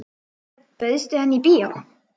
Örn, bauðstu henni í bíó?